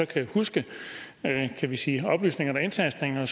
kan huske kan vi sige oplysninger eller indtastninger